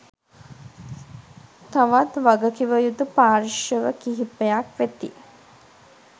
තවත් වගකිවයුතු පාර්ශ්ව කිහිපයක් වෙති